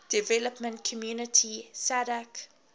development community sadc